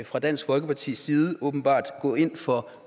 fra dansk folkepartis side åbenbart gå ind for